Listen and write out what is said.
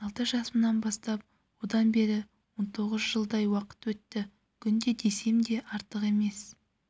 алты жасымнан бастап одан бері он тоғыз жылдай уақыт өтті күнде десем де артық емес